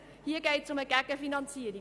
Hier geht es um eine Gegenfinanzierung.